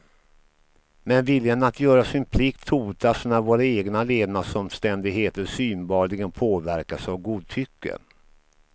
Men viljan att göra sin plikt hotas när våra egna levnadsomständigheter synbarligen påverkas av godtycke.